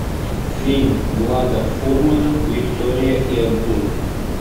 фильм влада фурмана виктория и абдул